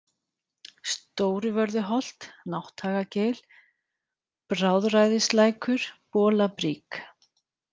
Stóruvörðuholt, Nátthagagil, Bráðræðislækur, Bolabrík